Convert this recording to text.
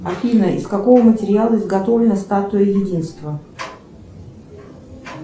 афина из какого материала изготовлена статуя единства